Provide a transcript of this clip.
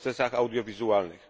w procesach audiowizualnych.